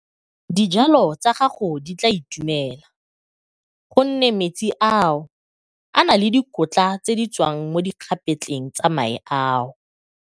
Dijalo tsa gago di tla itumela gonne metsi ao a na le dikotla tse di tswang mo dikgapetleng tsa mae ao.